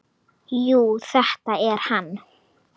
Jú, þetta er hann.